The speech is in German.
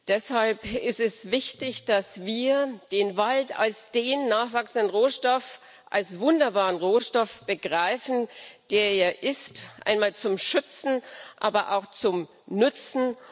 Deshalb ist es wichtig, dass wir den Wald als den nachwachsenden Rohstoff als wunderbaren Rohstoff begreifen, der er ist, einmal zum Schützen, aber auch zum Nützen.